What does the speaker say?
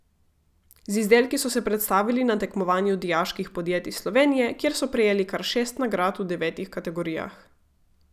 Z izdelki so se predstavili na tekmovanju dijaških podjetij Slovenije, kjer so prejeli kar šest nagrad v devetih kategorijah.